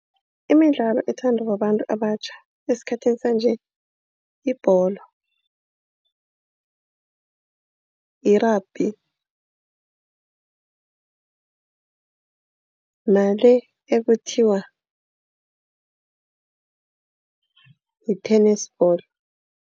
Imidlalo ethandwa babantu abatjha esikhathini sanje. Yibholo, yi-rugby nale ekuthiwa yi-tennis ball.